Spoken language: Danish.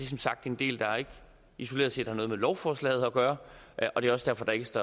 som sagt en del der isoleret set ikke har noget med lovforslaget at gøre og det er også derfor der ikke